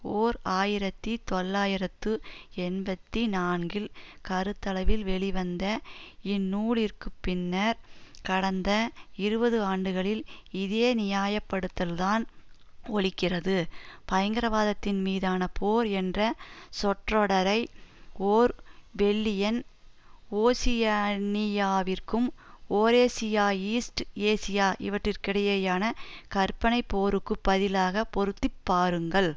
ஓர் ஆயிரத்தி தொள்ளாயிரத்து எண்பத்தி நான்கில் கருத்தளவில் வெளிவந்த இந்நூலிற்குப் பின்னர் கடந்த இருபது ஆண்டுகளில் இதே நியாயப்படுத்தல்தான் ஒலிக்கிறது பயங்கரவாதத்தின் மீதான போர் என்ற சொற்றொடரை ஓர்வெல்லியன் ஓஷியனியாவிற்கும் யூரேசியா ஈஸ்ட் ஏசியா இவற்றிற்கிடையேயான கற்பனை போருக்கு பதிலாக பொருத்திப்பாருங்கள்